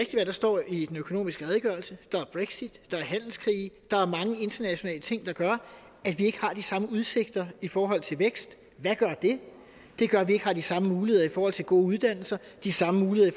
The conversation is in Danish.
hvad der står i den økonomiske redegørelse der er brexit der er handelskrige der er mange internationale ting der gør at vi ikke har de samme udsigter i forhold til vækst hvad gør det det gør at vi ikke har de samme muligheder i forhold til gode uddannelser de samme muligheder